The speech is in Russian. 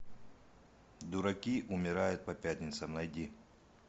дураки умирают по пятницам найди